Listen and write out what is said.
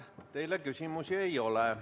Teile küsimusi ei ole.